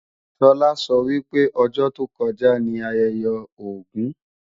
Sọlá sọ wípé ọjọ́ tó kọjá ní ayẹyẹ Ògún